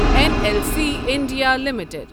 N L C India limited